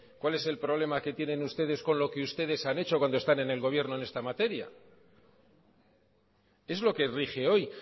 cuál es el problema que tienen ustedes con lo que ustedes han hecho cuando están en el gobierno en esta materia es lo que rige hoy